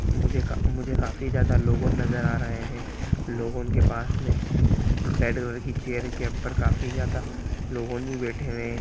मुझे का मुझे काफी ज्यादा लोग नजर आ रहे हैं लोगों के पास में रेड कि चेयर के ऊपर काफी ज्यादा लोग भी बैठे हुए हैं।